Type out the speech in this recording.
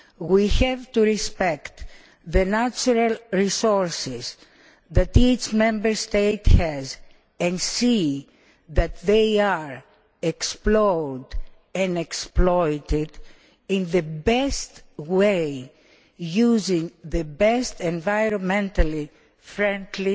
We have to respect the natural resources that each Member State has and see that they are explored and exploited in the best way, using the best environmentally friendly